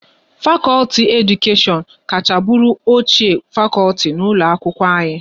Fakọlti Edukashion kacha bụrụ ochie fakọlti n'ụlọ akwụkwọ anyị